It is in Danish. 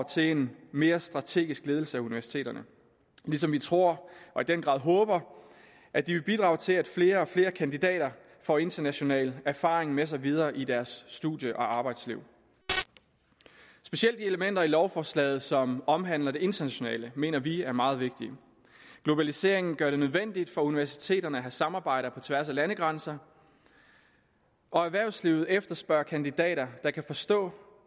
til en mere strategisk ledelse af universiteterne ligesom vi tror og i den grad håber at de vil bidrage til at flere og flere kandidater får international erfaring med sig videre i deres studie og arbejdsliv specielt de elementer i lovforslaget som omhandler det internationale mener vi er meget vigtige globaliseringen gør det nødvendigt for universiteterne at have samarbejder på tværs af landegrænser og erhvervslivet efterspørger kandidater der kan forstå